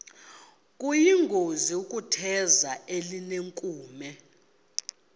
kuyingozi ukutheza elinenkume